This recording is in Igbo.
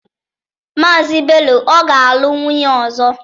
Mazị Bello ọ ga-alụ nwunye ọzọ?